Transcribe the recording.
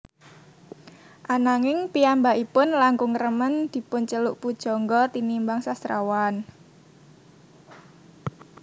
Ananging piyambakipun langkung remen dipunceluk pujangga tinimbang sastrawan